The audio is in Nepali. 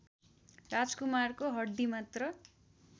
राजकुमारको हड्डीमात्र